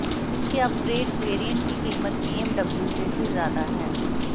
इसके upgraded variant की कीमत बीएमडब्यू से भी ज्यादा है